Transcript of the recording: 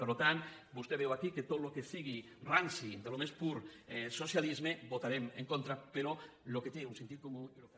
per tant vostè veu aquí que a tot el que sigui ranci del més pur socialisme hi votarem en contra però el que té un sentit comú i el que